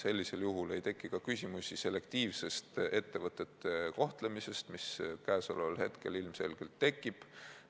Sellisel juhul ei teki ka küsimusi ettevõtete selektiivse kohtlemise kohta, mis käesoleval hetkel ilmselgelt tekib.